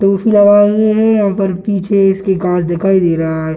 टोपी लगाए हुए है यहां पर पीछे इसके कांच दिखाई दे रहा है।